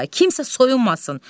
Oqtay, kimsə soyunmasın.